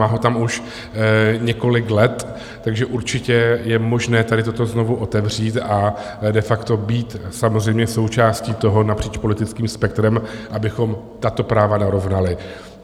Má ho tam už několik let, takže určitě je možné tady toto znovu otevřít a de facto být samozřejmě součástí toho napříč politickým spektrem, abychom tato práva narovnali.